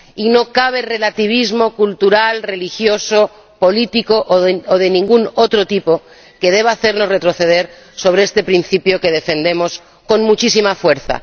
Y no cabe relativismo cultural, religioso, político o de ningún otro tipo que deba hacernos retroceder sobre este principio, que defendemos con muchísima fuerza.